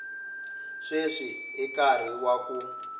sweswi i nkarhi wa ku